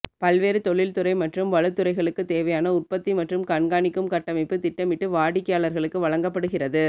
பல்வேறு தொழில்துறை மற்றும் வலுத் துறைகளுக்குத் தேவையான உற்பத்தி மற்றும் கண்காணிக்கும் கட்டமைப்பு திட்டமிட்டு வாடிக்கையாளர்களுக்கு வழங்கப்படுகிறது